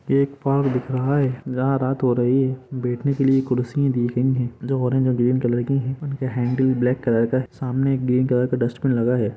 यह पार्क दिख रहा है जहां रात हो रही है बेठने के लिए कुर्सी दी गयी है जो ओरेंज और ग्रीन कलर की है उनके हैंडल ब्लेक कलर का है सामने एक ग्रीन कलर का डस्टबिन लगा है।